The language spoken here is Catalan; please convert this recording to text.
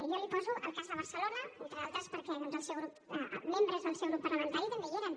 jo li poso el cas de barcelona entre d’altres perquè doncs membres del seu grup parlamentari també hi eren